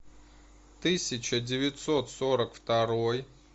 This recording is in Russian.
тысяча девятьсот сорок второй